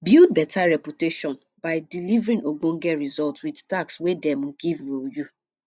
build better reputation by delivering ogbonge result with task wey dem give um you